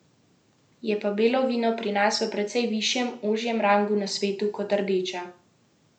Je pa belo vino pri nas v precej višjem, ožjem rangu na svetu kot rdeča.